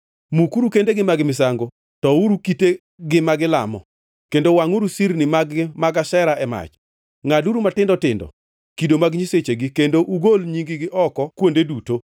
Mukuru kendegi mag misango, touro kitegi ma gilamo kendo wangʼuru sirni mag-gi mag Ashera e mach; ngʼaduru matindo tindo kido mag nyisechegi kendo ugol nying-gi oko kuonde duto.